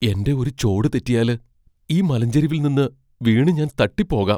എന്റെ ഒരു ചോട് തെറ്റിയാല്, ഈ മലഞ്ചെരിവിൽ നിന്ന് വീണു ഞാൻ തട്ടിപ്പോകാം.